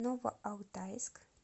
новоалтайск